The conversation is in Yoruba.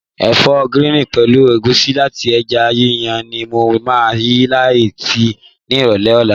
Ẹ̀fọ́ gíríìnì pẹ̀lú ẹ̀gúsí àti ẹja yíyan ni mo máa yí láta ni ìrọ̀lẹ́ ọ̀la.